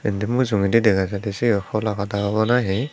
indi mujungedi dega jiy d cibi hola pada obo nahi.